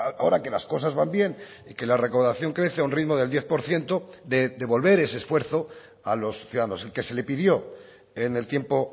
ahora que las cosas van bien y que la recaudación crece a un ritmo del diez por ciento de devolver ese esfuerzo a los ciudadanos el que se le pidió en el tiempo